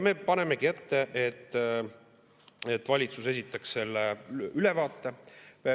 Me paneme ette, et valitsus esitaks selle ülevaate.